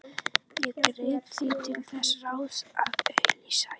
Ég greip því til þess ráðs að auglýsa í